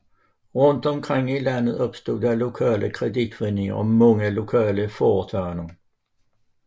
Rundt omkring i landet opstod lokale kreditforeninger og mange lokale foretagender